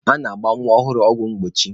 A na-agba nwa ọhụrụ ọgwụ mgbochi.